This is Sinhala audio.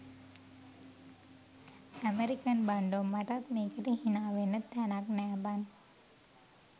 ඈමරිකන් බන්ඩෝ මටත් මේකට හිනාවෙන්න තෑනක් නෑ බන්